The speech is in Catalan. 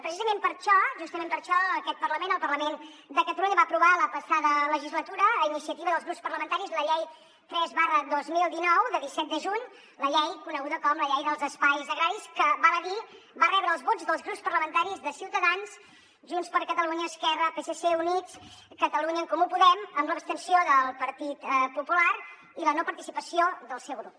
precisament per això justament per això aquest parlament el parlament de catalunya va aprovar la passada legislatura a iniciativa dels grups parlamentaris la llei tres dos mil dinou de disset de juny la llei coneguda com la llei dels espais agraris que val a dir va rebre els vots dels grups parlamentaris de ciutadans junts per catalunya esquerra psc units catalunya en comú podem amb l’abstenció del partit popular i la no participació del seu grup